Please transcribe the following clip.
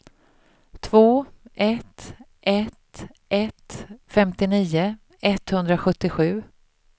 två ett ett ett femtionio etthundrasjuttiosju